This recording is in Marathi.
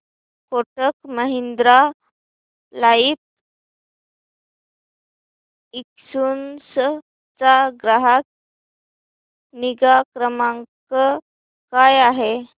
कोटक महिंद्रा लाइफ इन्शुरन्स चा ग्राहक निगा क्रमांक काय आहे